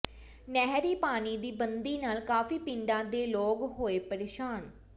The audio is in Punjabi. ਨਹਿਰੀ ਪਾਣੀ ਦੀ ਬੰਦੀ ਨਾਲ ਕਾਫ਼ੀ ਪਿੰਡਾਂ ਦੇ ਲੋਕ ਹੋਏ ਪ੍ਰੇਸ਼ਾਨ